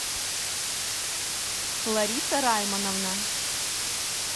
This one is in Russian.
лариса раймановна